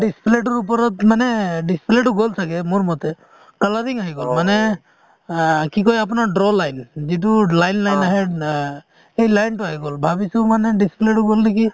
display তোৰ ওপৰত মানে display তো গ'ল ছাগে মোৰ মতে colouring আহি গল মানে অ কি কই আপোনাৰ draw line উম যিটো line line আহে অ সেই line তো আহি গ'ল ভাবিছো মানে display তো গ'ল নেকি